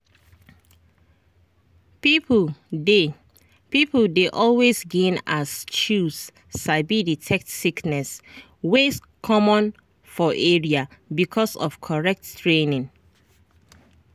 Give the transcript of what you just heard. people dey people dey always gain as chws sabi detect sickness wey common for area because of correct training.